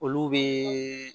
Olu bɛ